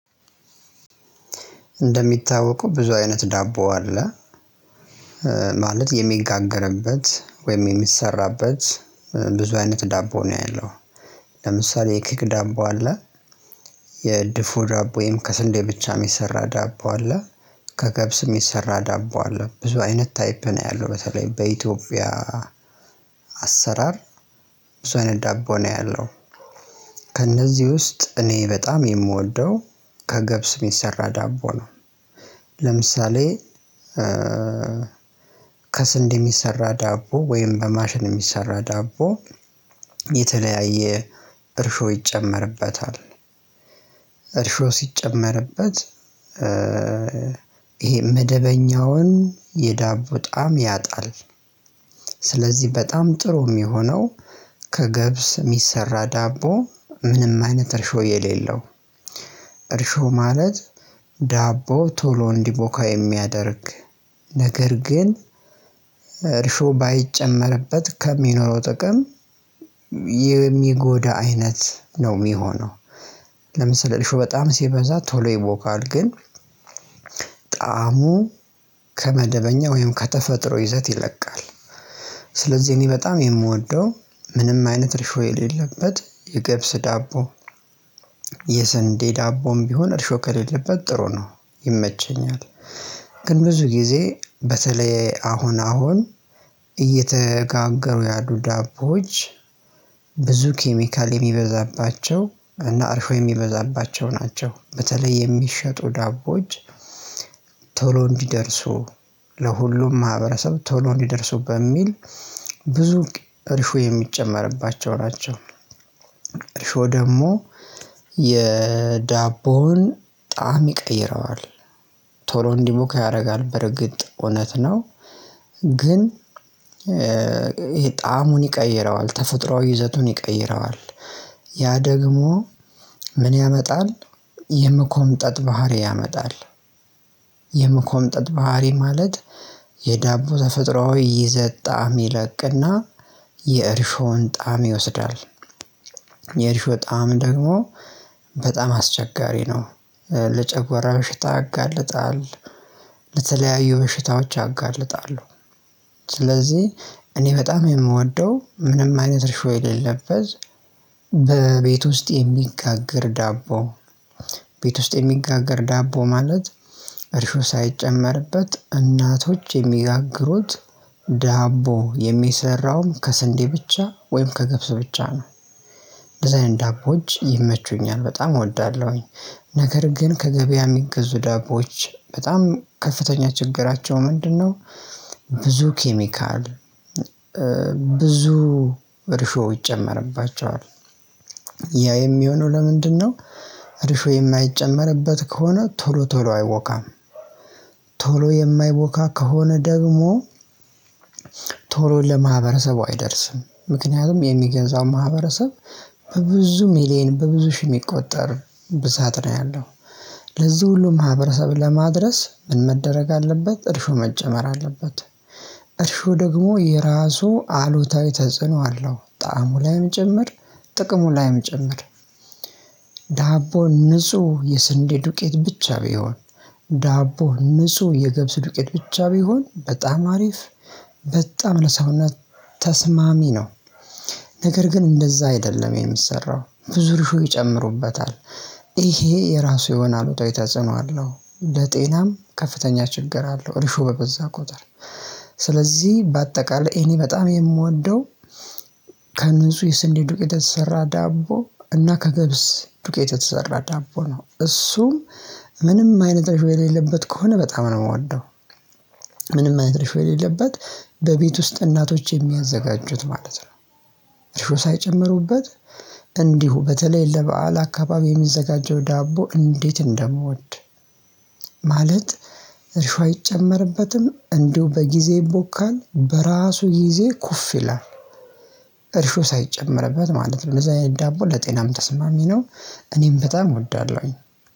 እንደሚታወቀው ብዙ አይነት ዳቦ አለ ማለት የሚጋገርበት ወይም የሚሰራበት ብዙ አይነት ዳቦ ነው ያለው። ለምሳሌ የኬክ ዳቦ አለ። የድፎ ዳቦ ወይም ከስንዴ ብቻ የሰራ ዳቦ አለ። ከገብስም የሚሰራ ዳቦ አለ ብዙ አይነት ታይፕ ነው ያለው በተለይ በኢትዮጵያ። አሰራር ብዙ አይነት ዳቦ ነው ያለው። ከእነዚህ ውስጥ እኔ በጣም የምወደው ከገብስ ሚሰራ ዳቦ ነው። ለምሳሌ ከስንዴ የሚሰራ ዳቦ ወይም በማሽን የሚሰራ ዳቦ የተለያየ እርሾ ይጨመርበታል። እርሾ ሲጨመርበት ይሄ መደበኛውን የዳቦ ጣም ያጣል። ስለዚህ በጣም ጥሩ የሚሆነው ከገብስ የሚሰራ ዳቦ ምንም አይነት እርሾ የሌለው እርሾ ማለት ዳቦ ቶሎ እንዲቦካ የሚያደርግ ነገር ግን እርሾ ባይጨመርበት ከሚኖረው ጥቅም የሚጎዳ አይነት ነው የሚሆነው። ለምሳሌ እርሾ በጣም ሲበዛ ቶሎ ይቦካል ግን ጣዕሙ ከመደበኛ ወይም ከተፈጥሮ ይዘት ይለቃል። ስለዚህ እኔ በጣም የምወደው ምንም አይነት እርሾ የሌለበት የግብስ ዳቦ። የሰንዴ ዳቦም ቢሆን እርሾ ከሌለበት ጥሩ ነው ይመቸኛል። ግን ብዙ ጊዜ በተለይ አሁን አሁን እየተጋገሩ ያዱ ዳቦዎች ብዙ ኬሚካል የሚበዛባቸው እና አርሾ የሚበዛባቸው ናቸው በተለይ የሚሸጡ ዳቦዎች። ቶሎ እንዲደርሱ ለሁሉም ማህበረሰብ ቶሎ እንዲደርሱ በሚል ብዙ እርሾ የሚጨመርባቸው ናቸው። እርሾ ደግሞ የዳቦውን ጣዕም ይቀይረዋል ቶሎ እንዲቦካ ያደርጋል በርግጥ እውነት ነው። ግን ይሄ ጣዕሙን ይቀይረዋል ተፈጥሮአዊ ይዘቱን ይቀይረዋል። ያ ደግሞ ምን ያመጣል የመኮምጠጥ ባህሪ ያመጣል። የመኮምጠጥ ባህሪ ማለት የዳቦ ዘፍጥሮአዊ ይዘት ጣዕም ይለቅና የእርሾን ጣዕም ይወስዳል። የእርሾ ጣዕም ደግሞ በጣም አስቸጋሪ ነው። ለጨጎራ ምሽት ያጋልጣል ለተለያዩ ምሽታዎች ያጋልጣሉ። ስለዚህ እኔ በጣም የምወደው ምንም አይነት እርሾ የሌለበት በቤት ውስጥ የሚጋግር ዳቦ። ቤት ውስጥ የሚጋግር ዳቦ ማለት እርሾ ሳይጨመርበት እናቶች የሚያጋግሩት ዳቦ የሚሰራውም ከስንዴ ብቻ ወይም ከግብስ ብቻ ነው። ዲዛይን ዳቦዎች ይመቹኛል በጣም እወዳለሁኝ። ነገር ግን ከገበያ የሚገዙ ዳቦች በጣም ከፍተኛ ችግራቸው ምንድነው? ብዙ ኬሚካል ብዙ እርሾ ይጨመርባቸዋል። ያ የሚሆነው ለምንድነው? እርሾ የማይጨመርበት ከሆነ ቶሎ ቶሎ አይቦካም። ቶሎ የማይቦካ ከሆነ ደግሞ ቶሎ ለማህበረሰቡ አይደርስም ምክንያቱም የሚገዛው ማህበረሰብ በብዙ ሚሊየን በብዙ ሺህ የሚቆጠር ብዛት ነው ያለው። ለዚህ ሁሉ ማህበረሰብ ለማድረስ ምን መደረግ አለበት እርሾ መጨመር አለበት። እርሾ ደግሞ የራሱ አሉታዊ ተጽዕኖ አለው። ጣዕሙ ላይም ጭምር ጥቅሙ ላይም ጭምር። ንጹህ የስንዴ ዱቄት ብቻ ቢሆን ዳቦ ንጹህ የገብስ ዱቄት ብቻ ቢሆን በጣም አሪፍ በጣም ለሰውነት ተስማሚ ነው። ነገር ግን እንደዛ አይደለም የሚሰራው ብዙ እርሾ ይጨምሩበታል። ይሄ የራሱ የሆነ አሉታዊ ተጽኖ አለው ለጤናም ከፍተኛ ችግር አለው እርሾ በበዛ ቁጥር። ስለዚህ በአጠቃላይ እኔ በጣም የምወደው ከንጹህ የስንዴ ዱቄት የተሰራ ዳቦ እና ከግብስ ዱቄት የተሰራ ዳቦ ነው እሱም ምንም አይነት እርሾ የሌለበት ከሆነ በጣም ነው የምወደው። እርሾ የሌለበት በቤት ውስጥ እናቶች የሚያዘጋጁት ማለት ነው። እርሾ ሳይጨምሩበት እንዲሁ በተለይ ለበአል አካባቢ የሚዘጋጀው ዳቦ እንዴት እንደምወድ። ማለት እርሾ አይጨመርበትም እንዲሁ በጊዜ ይቦካል በራሱ ጊዜ ኩፍ ይላል። እርሾ ሳይጨመርበት ማለት ነው እነዛ የዳቦ ለጤናም ተስማሚ ነው። እኔም በጣም እወዳለሁኝ።